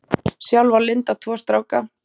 Sjálf á Linda tvo stráka.